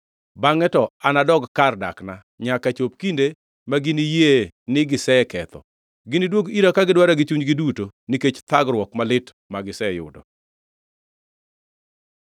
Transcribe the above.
Bangʼe to anadog kar dakna, nyaka chop kinde maginiyie ni giseketho. Giniduog ira ka gidwara gi chunygi duto nikech thagruok malit magiseyudo.”